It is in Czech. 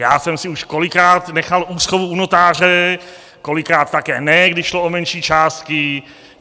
Já jsem si už kolikrát nechal úschovu u notáře, kolikrát také ne, když šlo o menší částky.